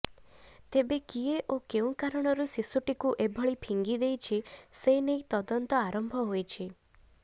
ତେବେ କିଏ ଓ କେଉଁ କାରଣରୁ ଶିଶୁଟିକୁ ଏଭଳି ଫିଙ୍ଗି ଦେଇଛି ସେ ନେଇ ତଦନ୍ତ ଆରମ୍ଭ ହୋଇଛି